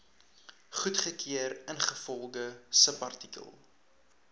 goedgekeur ingevolge subartikel